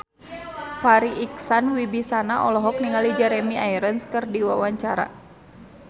Farri Icksan Wibisana olohok ningali Jeremy Irons keur diwawancara